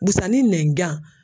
Busanin nɛnjan